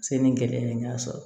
Se ni gɛlɛya ye n y'a sɔrɔ